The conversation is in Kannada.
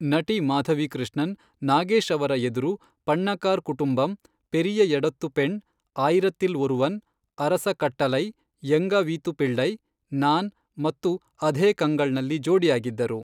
ನಟಿ ಮಾಧವಿ ಕೃಷ್ಣನ್ ನಾಗೇಶ್ ಅವರ ಎದುರು ಪಣ್ಣಕಾರ್ ಕುಟುಂಬಮ್, ಪೆರಿಯ ಎಡತ್ತು ಪೆಣ್, ಆಯಿರತಿಲ್ ಒರುವನ್, ಅರಸ ಕಟ್ಟಲೈ, ಎಂಗಾ ವೀತು ಪಿಳ್ಳೈ, ನಾನ್ ಮತ್ತು ಅಧೇ ಕಂಗಳ್ನಲ್ಲಿ ಜೋಡಿಯಾಗಿದ್ದರು.